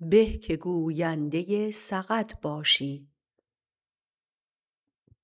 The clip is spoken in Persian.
به که گوینده سقط باشی